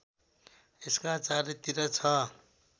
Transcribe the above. यसका चारैतिर छ